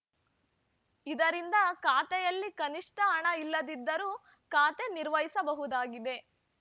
ಇದರಿಂದ ಖಾತೆಯಲ್ಲಿ ಕನಿಷ್ಠ ಹಣ ಇಲ್ಲದಿದ್ದರೂ ಖಾತೆ ನಿರ್ವಹಿಸಬಹುದಾಗಿದೆ